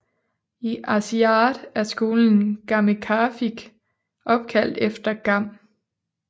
I Aasiaat er skolen Gammeqarfik opkaldt efter Gam